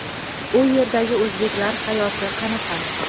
u yerdagi o‘zbeklar hayoti qanaqa?.